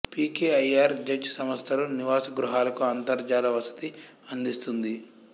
P K I R Z సంస్థలు నివాసగృహాలకు అంతర్జాల వసతి అందిస్తుంది